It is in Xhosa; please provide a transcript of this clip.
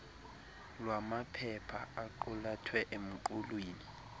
lwamaphepha aqulathwe emqulwini